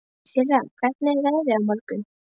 Sirra, hvernig er veðrið á morgun?